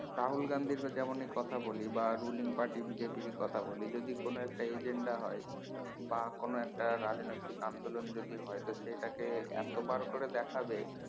রাহুল গান্ধী এর যেমনি কথা বলি কথা বলি বা ruling পার্টি BJP ই কথা বলি যদি কোন একটা agenda হয় বা কোন একটা রাজনৈতিক আন্দোলন যদি হয় সেটাকে এতো বার করে দেখাবে